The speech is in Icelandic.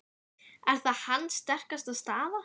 Er það hans sterkasta staða?